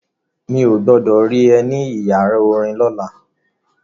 Mi ò gbọdọ̀ rí ẹ ní ìyàrá orin lọ́la.